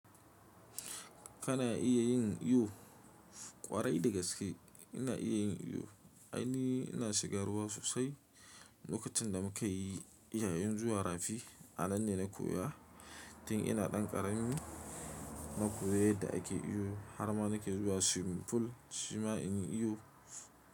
Kana iya yin iyo ƙwarai da gaske. Ina iya yin iyo, ainihi ina shiga ruwa sosai. Lokacin da muka yi yayin zuwa rafi, a nan ne na koya. Tin ina ɗan ƙaramin na koyi yadda ake iyo. Har ma na ke zuwa swimming pool shima in yi iyo.